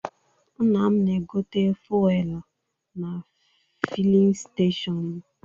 Nna m na-egote fuelụ na filin stechọnụ.